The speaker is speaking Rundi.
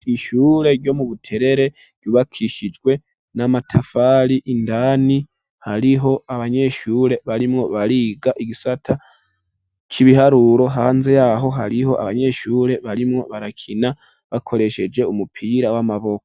ishure ryo mu Buterere ryubakishijwe n'amatafari indani hariho abanyeshure barimwo bariga igisata c'ibiharuro hanze yaho hariho abanyeshure barimwo barakina bakoresheje umupira w'amaboko.